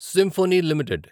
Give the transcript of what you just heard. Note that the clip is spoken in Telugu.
symphony limited